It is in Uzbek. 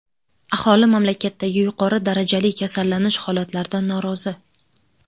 Aholi mamlakatdagi yuqori darajali kasallanish holatlaridan norozi.